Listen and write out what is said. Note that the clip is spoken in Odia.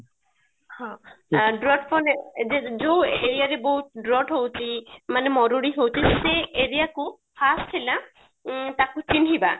ହଁ ଯୋଉ aria ରେ ବହୁତ drought ହଉଛି ମାନେ ମରୁଡି ହଉଛି ସେ aria କୁ first ହେଲା ଉଁ ତାକୁ ଚିହ୍ନିବା